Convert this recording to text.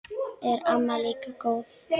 Er amma líka góð?